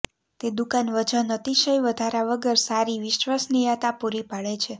તે દુકાન વજન અતિશય વધારા વગર સારી વિશ્વસનીયતા પૂરી પાડે છે